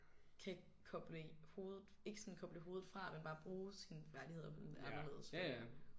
Kan koble hovedet ikke sådan koble hovedet fra men bare bruge sine færdigheder på en anderledes måde